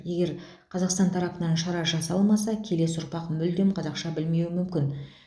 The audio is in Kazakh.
егер қазақстан тарапынан шара жасалмаса келесі ұрпақ мүлдем қазақша білмеуі мүмкін